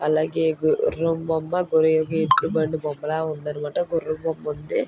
అలాగే గు-రూమ్ బొమ్మ బొమ్మల ఉంది అన్నమాట. గుర్రం బొమ్మ ఉంది.